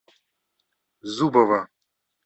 зубова